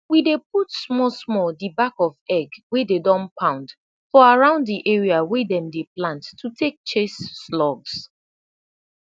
we dey put smalsmal de back of egg wey dey don pound for around de area wey dem dey plant to tak chase slugs